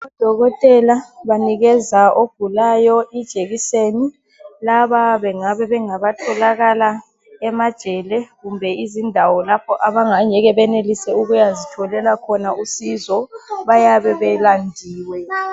Odokotela banikeza ogulayo ijekiseni. Laba bengabe bengabatholakala emajele kumbe izindawo lapho abangeke benelise ukuyazitholela khona usizo, bayabe belandiwe.